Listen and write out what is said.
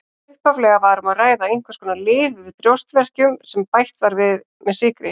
Upphaflega var um að ræða einhvers konar lyf við brjóstverkjum sem bætt var með sykri.